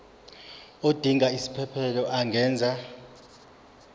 odinga isiphesphelo angenza